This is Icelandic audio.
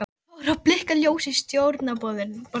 Það fór að blikka ljós í stjórnborðinu.